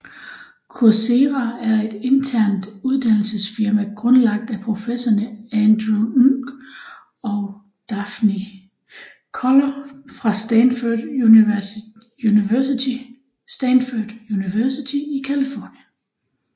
Coursera er et internet uddannelsesfirma grundlagt af professorerne Andrew Ng og Daphne Koller fra Stanford University i Californien